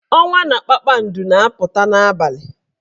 Ọnwa na kpakpando na-apụta n'abalị.